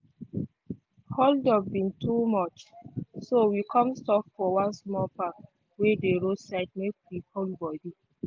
holdup bin too much so we come stop for one small park wey dey road side make we cool body.